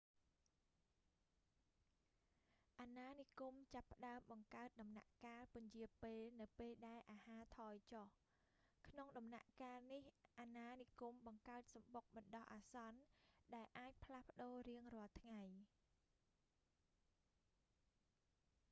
អាណានិគមចាប់ផ្តើមបង្កើតដំណាក់កាលពន្យារពេលនៅពេលដែលអាហារថយចុះ ក្នុងដំណាក់កាលនេះ អណានិគមបង្កើតសំបុកបណ្ដោះអាសន្នដែលអាចផ្លាស់ប្តូររៀងរាល់ថ្ងៃ